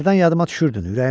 Hərdən yadıma düşürdün.